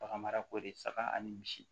Bagan marako de saga ani misi